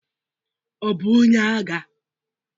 Ọ bụ onye agha?